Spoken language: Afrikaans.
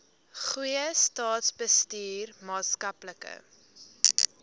goeie staatsbestuur maatskaplike